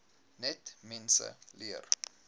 net mense leer